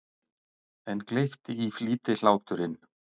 En gleypti í flýti hláturinn.